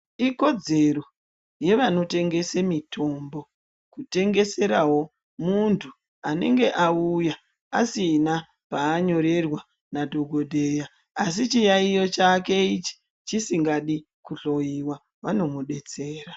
Ikodzero yevanotengese mitombo kutengeserawo muntu anenge auya asina paanyorerwa nadhokodheya asi chiyaiyo chake ichi chisingadi kuhloiwa vanomudetsera.